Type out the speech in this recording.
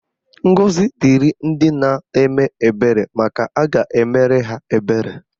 Ngọzi dịrị ndị na-eme ebere maka a ga-emere ha ebere.